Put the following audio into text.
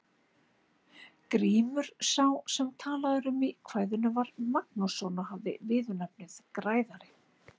Grímur sá sem talað er um í kvæðinu var Magnússon og hafði viðurnefnið græðari.